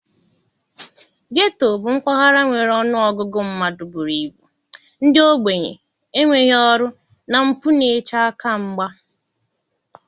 Getoo bụ mpaghara nwere ọnụ ọgụgụ mmadụ buru ibu ndị ogbenye, enweghị ọrụ na mpụ n'eche aka mgba.